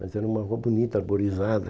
Mas era uma rua bonita, arborizada.